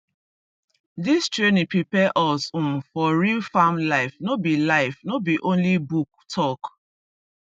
this training prepare us um for real farm life no be life no be only book talk